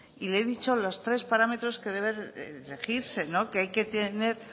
y le he dicho los tres parámetros que debe de regirse que hay que tener